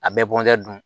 A bɛɛ bɔnɛ dun